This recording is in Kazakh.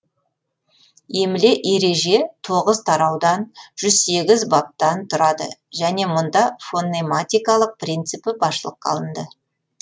емле ереже тоғыз тараудан жүз сегіз баптан тұрады және мұнда фонематикалық принципі басшылыққа алынды